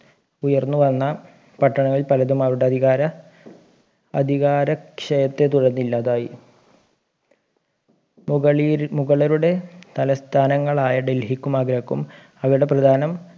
ഉയർന്നു വന്ന പട്ടണങ്ങൾ പലതും അവരുടെ അധികാര അധികാരക്ഷയത്തെ തുടർന്ന് ഇല്ലാതായി മുകളരുടെ തലസ്ഥാനങ്ങളായ ഡൽഹിക്കും ആഗ്രയ്ക്കും അവരുടെ പ്രധാനം